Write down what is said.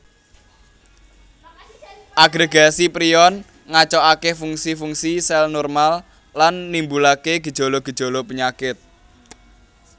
Agregasi prion ngacoake fungsi fungsi sel normal lan nimbulaken gejala gejala penyakit